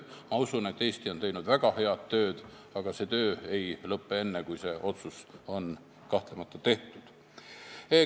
Ma usun, et Eesti on teinud väga head tööd, aga see töö ei lõpe enne, kui see otsus on tehtud.